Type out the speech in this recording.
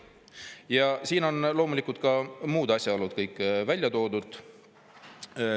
Ja siin on loomulikult ka muud asjaolud kõik välja toodud.